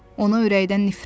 Ona ürəkdən nifrət eləyirdi.